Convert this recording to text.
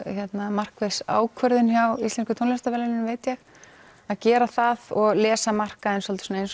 markviss ákvörðun hjá Íslensku tónlistarverðlaununum veit ég að gera það og lesa markaðinn svolítið eins